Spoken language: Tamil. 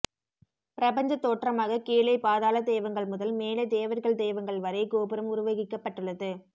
பிரபஞ்சத்தோற்றமாக கீழே பாதாளதெய்வங்கள் முதல் மேலே தேவர்கள் தெய்வங்கள் வரை கோபுரம் உருவகிக்கப்பட்டுள்ளது